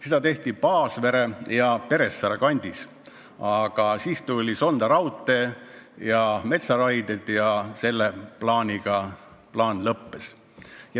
Seda tehti Paasvere ja Peressaare kandis, aga siis tuli Sonda raudtee ja metsaraided ja sellega see plaan lõppes.